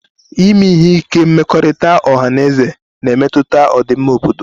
Ime ihe ike mmekọrịta ọha na eze na-emetụta ọdịmma obodo